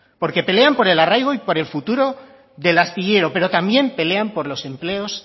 porque pelean por el arraigo y por el futuro del astillero pero también pelean por los empleos